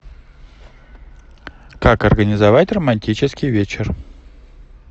как организовать романтический вечер